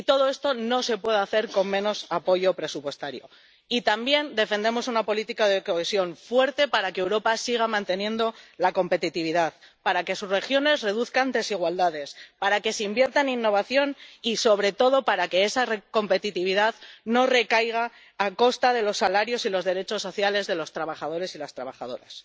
Y todo esto no se puede hacer con menos apoyo presupuestario. Y también defendemos una política de cohesión fuerte para que Europa siga manteniendo la competitividad, para que sus regiones reduzcan desigualdades, para que se invierta en innovación y, sobre todo, para que esa competitividad no sea a costa de los salarios y los derechos sociales de los trabajadores y las trabajadoras.